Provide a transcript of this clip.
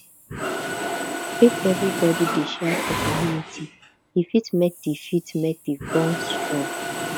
if everybody dey share for community e fit make di fit make di bond strong